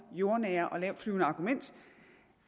jordnære og lavtflyvende argument